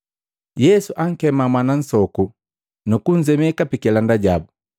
Yesu ankema mwana nsoku nukunzemeka pikilanda jabu.